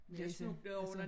Læse altså